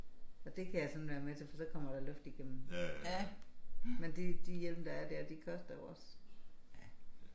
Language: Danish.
Og det kan jeg sådan være med til for så kommer der luft igennem. Men det de hjelme der er der de koster jo også